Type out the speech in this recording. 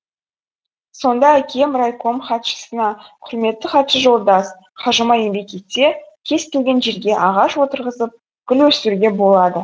сонда әкем райком хатшысына құрметті хатшы жолдас қажымай еңбек етсе кез келген жерге ағаш орырғызып гүл өсіруге болады